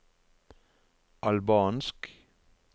albansk